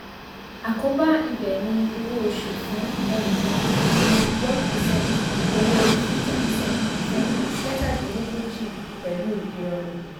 àkóbá ibẹ̀ ni owó oṣù fún ẹnìkan ní one percent owó fifty percent fún mẹ́tàdínlógójì pẹ̀lú ìrọ̀rùn